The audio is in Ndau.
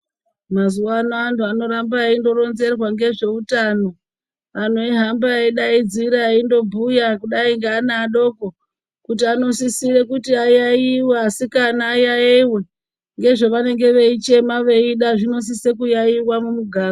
Mazuva ano vantu vanoramba veingo ronzerwa ngezveutano antu veihamba nevana vadoko kuti anosisira kuti ayayuyiwe asikana ayayayiwe ngezvavanenge veichema veyida zvinosise kuyayayiwa mumuganga.